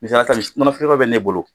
Alasani nɔnɔ feere yɔrɔ bɛ ne bolo.